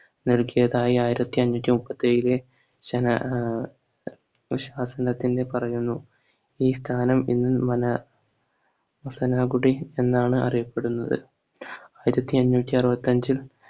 നൽകിയതായി ആയിരത്തി അഞ്ഞൂറ്റി മുപ്പത്തി ഏഴിലേ ശന ആഹ് ശാസനത്തിന്റെ പറഞ്ഞെന്നും ഈ സ്ഥാനം ഈ മല മുസനാഗുഡി എന്നാണ് അറിയപ്പെടുന്നത് ആയിരത്തി അഞ്ഞൂറ്റി അറുപത്തി അഞ്ചിൽ